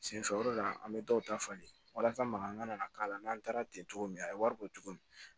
Senfɛ o de la an bɛ dɔw ta falen walasa mankan ka na k'a la n'an taara ten cogo min a ye wari bɔ tuguni